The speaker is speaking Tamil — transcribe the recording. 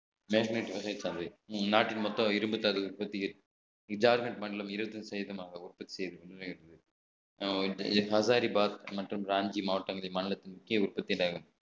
மேக்னைட் வகை சார்ந்தது நாட்டின் மொத்தம் இரும்புத்தாது ஜார்கன்ட் மண்டலம் இருபத்தி ஐந்து சதவீதமாக உற்பத்தி செய்து கொண்டிருக்கிறது மற்றும் மாநிலத்தின் முக்கிய உற்பத்தி நகரம்